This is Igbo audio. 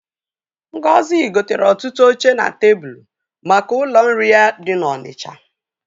Ngozi gotere ọtụtụ oche na tebulu maka ụlọ nri ya dị n'Ọnịcha.